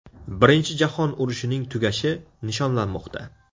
Birinchi jahon urushining tugashi nishonlanmoqda.